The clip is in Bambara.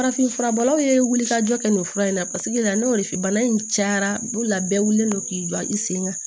Farafinfura bɔlaw ye ka jɔ kɛ nin fura in na paseke n'o filɛ nin cayara bolola bɛɛ wililen don k'i jɔ i sen kan